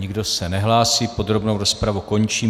Nikdo se nehlásí, podrobnou rozpravu končím.